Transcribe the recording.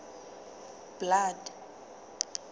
blood